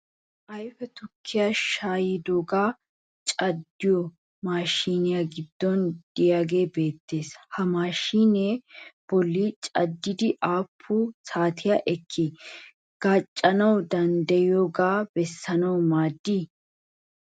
Ayfe tukkiya shaayidoogee a caddiyo maashiniyaa giddon diyagee beettes. Ha maashiniya bolli caddiiddi aappun saatiya ekkidi gaacanawu dandayiyaakko bessanawu maaddii?